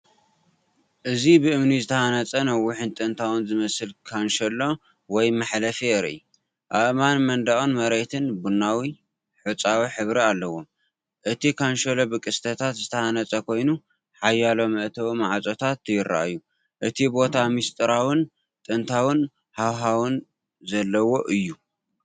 እዚ ብእምኒ ዝተሃንጸ ነዊሕን ጥንታዊ ዝመስልን ካንሸሎ ወይ መሕለፊ የርኢ። ኣእማን መንደቕን መሬትን ቡናዊ/ሑጻዊ ሕብሪ ኣለዎም። እቲ ካንሸሎ ብቅስትታት ዝተሃንጸ ኮይኑ፡ ሓያሎ መእተዊ ማዕጾታት ይረኣዩ። እቲ ቦታ ምስጢራውን ጥንታውን ሃዋህው ዘለዎ እዩ።